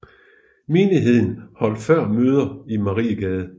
Menigheden holdt før møder i Mariegade